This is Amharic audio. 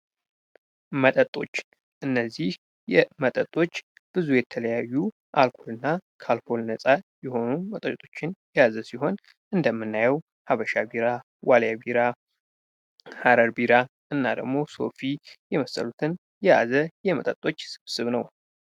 መጠጦች እነዚህ የመጠጦች ብዙ የተለያዩና ካልኮልና ከአልኮል ነፃ የሆኑ መጠጦችን የያዘ ሲሆን እንደምናየው ሀበሻ ቢራ፣ ዋልያ ቢራ፣ ሃረር ቢራ እና ሶፊ የመሰሉትን የያዘ የመጠጦች ስብስብ ነው።